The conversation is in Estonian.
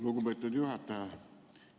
Lugupeetud juhataja!